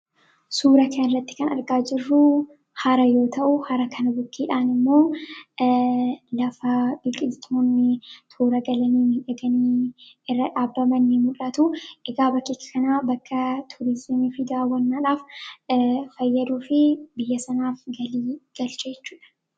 Suura kana irratti kan argaa jirruu, hara yoo ta'u, hara kana bukkeeshaan immoo lafa biqiltuun toora galanii miidhaganii irra dhaabbaman ni mul'atu. bakka kana bakka turizimii fi daawwannaaf fayyaduu fi biyya sanaaf galii galcha jechuudha.